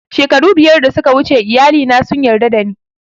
Shekaru biyar da suka wuce iyali na sun yarda da ni